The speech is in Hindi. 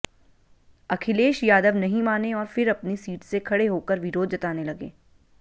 अखिलेश यादव नहीं माने और फिर अपनी सीट से खड़े होकर विरोध जताने लगे